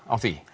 á því